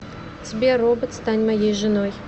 сбер робот стань моей женой